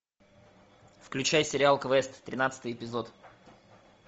включай сериал квест тринадцатый эпизод